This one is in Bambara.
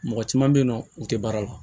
Mɔgɔ caman bɛ yen nɔ u tɛ baara la